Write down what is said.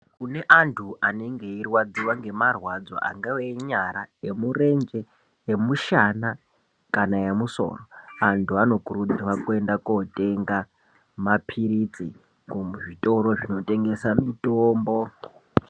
Kune antu anenge eirwadziwa ngemarwadzo angave enyara emurenje emushana kana emusoro antu anokurudzirwa kuenda kotenda mapirizi kuzvitoro zvinotengesa mitombo.